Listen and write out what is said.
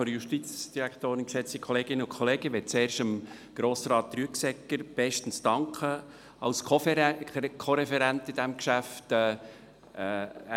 Ich möchte als Erstes Grossrat Rüegsegger als Co-Referenten zu diesem Geschäft bestens danken.